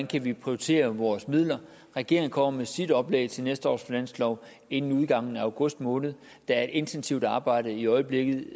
kan prioritere vores midler regeringen kommer med sit oplæg til næste års finanslov inden udgangen af august måned der er et intensivt arbejde i øjeblikket